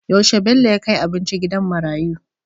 Yaushe Bello ya kai abinci gidan marayiu?